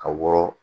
Ka wɔrɔ